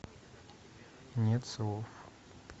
нет слов